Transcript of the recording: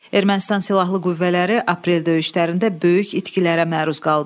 Ermənistan silahlı qüvvələri aprel döyüşlərində böyük itkilərə məruz qaldı.